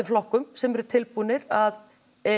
flokkum sem eru tilbúnir að